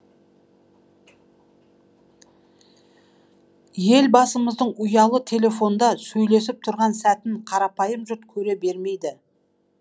елбасымыздың ұялы телефонда сөйлесіп тұрған сәтін қарапайым жұрт көре бермейді